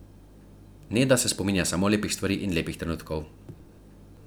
Neda pa se spominja samo lepih stvari in lepih trenutkov.